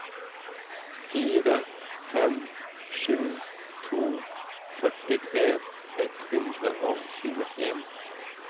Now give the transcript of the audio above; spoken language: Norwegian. fire fem sju to førtitre ett hundre og tjueen